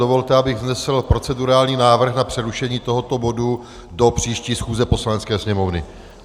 Dovolte, abych vznesl procedurální návrh na přerušení tohoto bodu do příští schůze Poslanecké sněmovny.